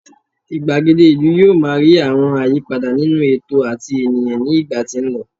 igbagede ìlú yíò ma ri àwọn àyípadà nínú ètò ati ènìyàn ní ìgbà tí n lọ